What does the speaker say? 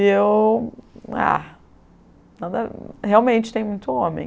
E eu, ah, nada, realmente tem muito homem.